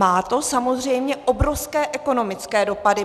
Má to samozřejmě obrovské ekonomické dopady.